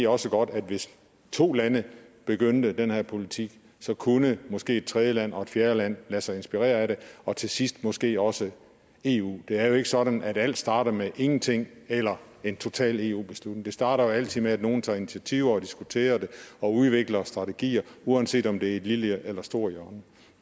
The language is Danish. også godt at hvis to lande begyndte den her politik kunne måske et tredje land og et fjerde land lade sig inspirere af det og til sidst måske også eu det er jo ikke sådan at alt starter med ingenting eller en total eu beslutning det starter jo altid med at nogen tager initiativer og diskuterer det og udvikler strategier uanset om det er i et lille eller stort hjørne